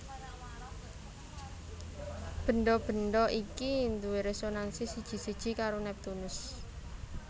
Bendha bendha iki duwé résonansi siji siji karo Neptunus